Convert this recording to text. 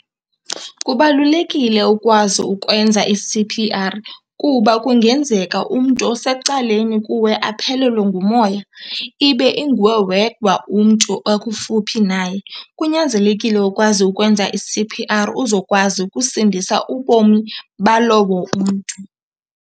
Kubalulekile ukwazi ukwenza i-C_P_R kuba kungenzeka umntu osecaleni kuwe aphelelwe ngumoya, ibe inguwe wedwa umntu okufuphi naye. Kunyanzelekile ukwazi ukwenza i-C_P_R uzokwazi ukusindisa ubomi balowo umntu.